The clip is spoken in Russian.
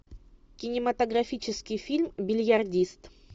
кинематографический фильм бильярдист